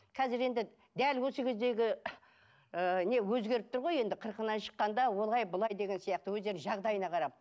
қазір енді дәл осы кездегі ыыы не өзгеріп тұр ғой енді қырқынан шыққанда олай былай деген сияқты өздерінің жағдайына қарап